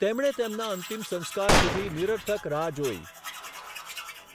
તેમણે તેમના અંતિમ સંસ્કાર સુધી નિરર્થક રાહ જોઈ.